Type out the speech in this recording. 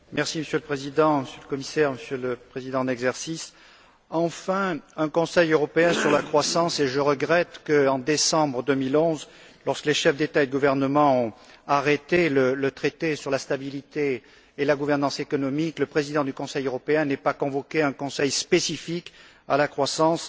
Monsieur le Président, Monsieur le Commissaire, Monsieur le Président en exercice, enfin un Conseil européen sur la croissance et je regrette que, en décembre 2011, lorsque les chefs d'État et de gouvernement ont arrêté le traité sur la stabilité et la gouvernance économique, le président du Conseil européen n'ait pas convoqué un Conseil spécifique à la croissance.